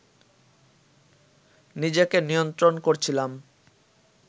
নিজেকে নিয়ন্ত্রণ করছিলাম